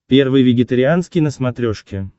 первый вегетарианский на смотрешке